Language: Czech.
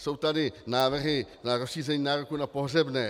Jsou tady návrhy na rozšíření nároku na pohřebné.